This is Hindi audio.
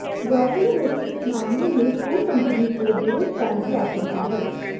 गौरतलब है कि इस मामले में टोल कंपनी को बड़े स्कैम की आशंका है